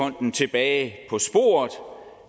om at